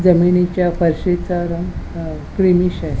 जमिनीच्या फरशीचा रंग अ ग्रीनिष आहे.